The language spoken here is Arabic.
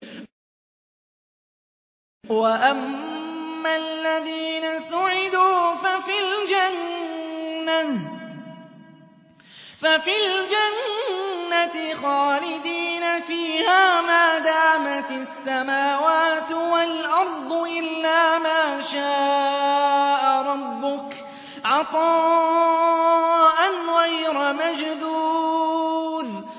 ۞ وَأَمَّا الَّذِينَ سُعِدُوا فَفِي الْجَنَّةِ خَالِدِينَ فِيهَا مَا دَامَتِ السَّمَاوَاتُ وَالْأَرْضُ إِلَّا مَا شَاءَ رَبُّكَ ۖ عَطَاءً غَيْرَ مَجْذُوذٍ